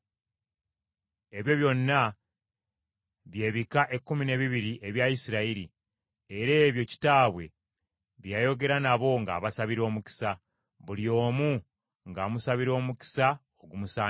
Ebyo byonna by’ebika ekkumi n’ebiriri ebya Isirayiri, era ebyo kitaabwe bye yayogera nabo ng’abasabira omukisa. Buli omu ng’amusabira omukisa ogumusaanira.